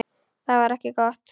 Það var ekki gott.